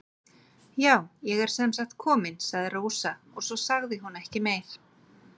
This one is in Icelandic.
Já, ég er sem sagt komin, sagði Rósa og svo sagði hún ekki meira.